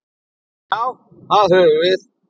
Já, það höfum við.